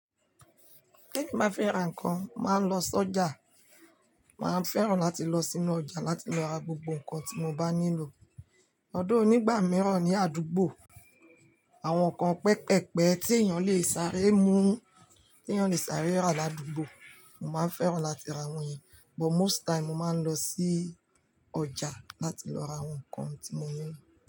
Bí mo bá fẹ́ ra nǹkan, màá lọ sọ́jà. Màá fẹ́ràn láti lọ sínú ọjà láti lọ ra gbogbo nǹkan tí mo bá nílò. Although nígbà mìíràn ní àdúgbò, àwọn nǹkan pẹpẹpẹ tí èèyàn lè sáré mú, tí èèyàn lè sáré rà ládùúgbò, mo máa fẹ́ràn láti ra wọ́n yẹn. But most time, mo máa ń lọ sí ọjà láti lọ ra àwọn nǹkan tí mo nílò.